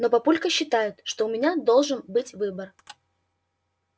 но папулька считает что у меня должен быть выбор